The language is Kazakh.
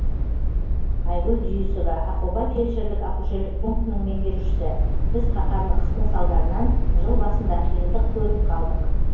айгүл дүйісова ақоба фельдшерлік акушерлік пунктінің меңгерушісі біз қаһарлы қыстың салдарынан жыл басында қиындық көріп қалдық